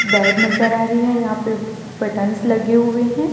Bed नजर आ रही है यहां पे बटंस लगी हुए है।